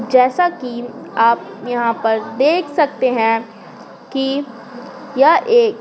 जैसा कि आप यहाँ पर देख सकते हैं कि यह एक--